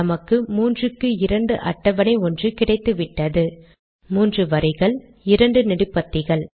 நமக்கு 3 க்கு 2 அட்டவணை ஒன்று கிடைத்துவிட்டது மூன்றுவரிகள் மற்றும் 2 நெடுபத்திகள்